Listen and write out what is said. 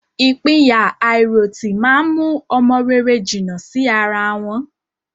Ìpínyà àìròtì má ń mú ọmọ rere jìnnà sí ara wọn